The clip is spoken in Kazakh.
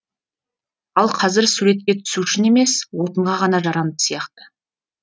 ал қазір суретке түсу үшін емес отынға ғана жарамды сияқты